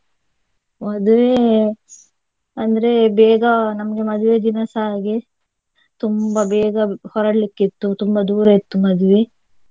ಮದ್ವೆ ಅಂದ್ರೆ ಬೇಗ ನಮ್ಗೆ ಮದುವೆ ದಿನಸ ಹಾಗೆ ತುಂಬಾ ಬೇಗ ಹೊರಡ್ಲಿಕ್ಕೆ ಇತ್ತು ತುಂಬಾ ದೂರ ಇತ್ತು ಮದ್ವೆ.